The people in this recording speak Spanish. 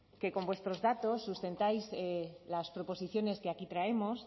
que con vuestros datos sustentáis las proposiciones que aquí traemos